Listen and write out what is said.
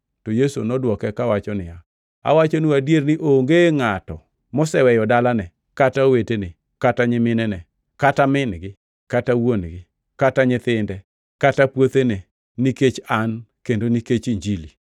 To Yesu nodwoke kawacho niya, “Awachonu adier ni onge ngʼato moseweyo dalane, kata owetene, kata nyiminene, kata min-gi, kata wuon-gi, kata nyithinde, kata puothene, nikech An kendo nikech Injili,